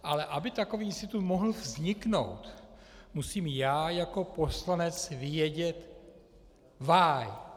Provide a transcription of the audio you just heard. Ale aby takový institut mohl vzniknout, musím já jako poslanec vědět "Why?